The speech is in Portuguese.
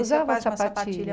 Usava sapatilha.